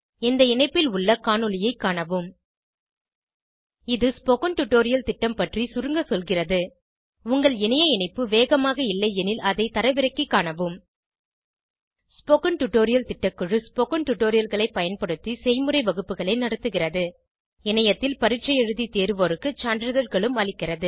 இந்த இணைப்பில் உள்ள காணொளியைக் காணவும் இது ஸ்போகன் டுடோரியல் திட்டம் பற்றி சுருங்க சொல்கிறது உங்கள் இணைய இணைப்பு வேகமாக இல்லையெனில் அதை தரவிறக்கிக் காணவும் ஸ்போகன் டுடோரியல் திட்டக்குழு ஸ்போகன் டுடோரியல்களைப் பயன்படுத்தி செய்முறை வகுப்புகள் நடத்துகிறது இணையத்தில் பரீட்சை எழுதி தேர்வோருக்கு சான்றிதழ்களும் அளிக்கிறது